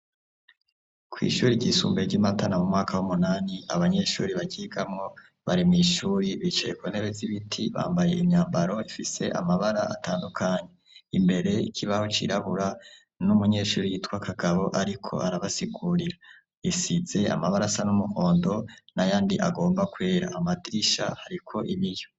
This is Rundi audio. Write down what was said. Kw' ishuri ry'isumbuye ry' i Matana mu mwaka w'umunani abanyeshuri baryigamwo, bari mw' ishuri bicaye kuntebe zibiti, bambaye imyambaro ifise amabara atandukanye, imbere ikibaho cirabura n'umunyeshuri yitwa Kagabo ariko arabasigurira. Isize amabarasa y' umuhondo nayandi agomba kwera, amadirisha ariko ibiyo.